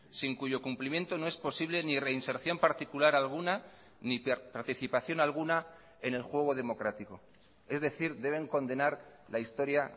sin cuyo cumplimiento no es posible ni reinserción particular alguna ni participación alguna en el juego democrático es decir deben condenar la historia